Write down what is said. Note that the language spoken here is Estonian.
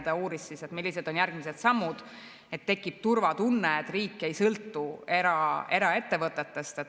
Ta uuris, millised on järgmised sammud, et tekiks turvatunne, et riik ei sõltu eraettevõtetest.